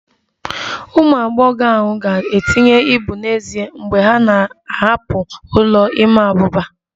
Ụmụ agbọghọ ahụ ga-etinye ibu n'ezie mgbe ha na-ahapụ ụlọ ịma abuba